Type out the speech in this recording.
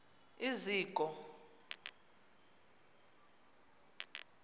iziko